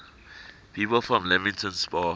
people from leamington spa